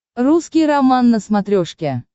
русский роман на смотрешке